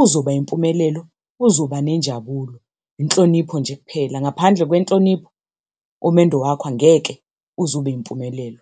uzoba impumelelo, uzoba nenjabulo. Inhlonipho nje kuphela, ngaphandle kwenhlonipho umendo wakho angeke uze uphumelele.